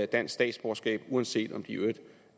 dansk statsborgerskab uanset om de i øvrigt